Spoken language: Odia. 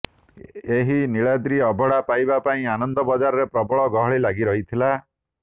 ଏହି ନୀଳାଦ୍ରି ଅବଢ଼ା ପାଇବା ପାଇଁ ଆନନ୍ଦ ବଜାରରେ ପ୍ରବଳ ଗହଳି ଲାଗି ରହିଥିଲା